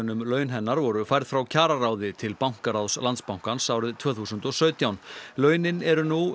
um laun hennar voru færð frá kjararáði til bankaráðs Landsbankans árið tvö þúsund og sautján launin eru nú